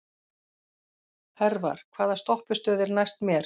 Hervar, hvaða stoppistöð er næst mér?